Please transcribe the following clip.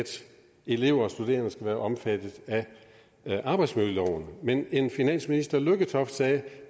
elever og studerende skulle være omfattet af arbejdsmiljøloven men en finansminister lykketoft sagde